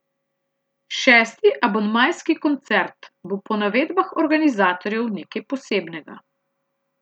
Šesti abonmajski koncert bo po navedbah organizatorjev nekaj posebnega.